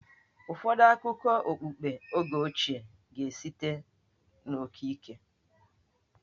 Ụfọdụ akụkọ okpukpe oge ochie ga-esite n'okike.